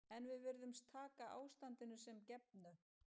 En við virðumst taka ástandinu sem gefnu.